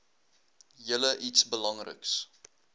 julle iets belangriks